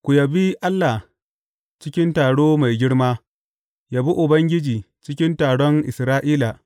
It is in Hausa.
Ku yabi Allah cikin taro mai girma; yabi Ubangiji cikin taron Isra’ila.